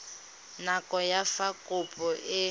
nako ya fa kopo e